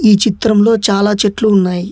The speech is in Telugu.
ఈ చిత్రంలో చాలా చెట్లు ఉన్నాయి.